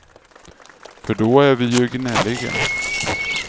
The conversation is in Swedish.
För då är vi ju gnälliga.